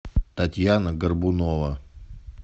татьяна горбунова